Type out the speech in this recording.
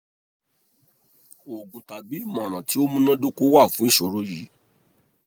oògùn tabi imọran ti o munadoko wa fun iṣoro yii